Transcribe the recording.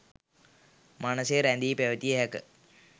මනසේ රැඳී පැවතිය හැක.